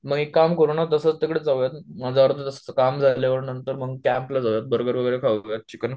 मग काम करू ना तसच तिकडे जाऊयात मग अर्धा तास काम झाल्यावर नंतर मग कॅम्पला जाऊयात बर्गर वगैरे खाऊ यात चिकन